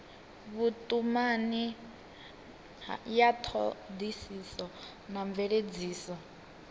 vhutumani ya thodisiso na mveledziso